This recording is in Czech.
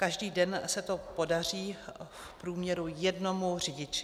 Každý den se to podaří v průměru jednomu řidiči.